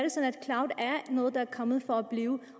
noget der er kommet for at blive